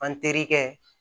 An terikɛ